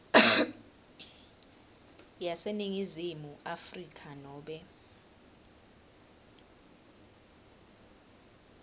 yaseningizimu afrika nobe